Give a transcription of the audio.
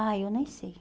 Ah, eu nem sei.